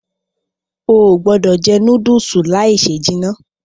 Óò gbọdọ jẹ núdùùsì láì se jìnà.